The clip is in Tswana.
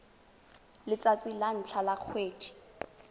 letsatsi la ntlha la kgwedi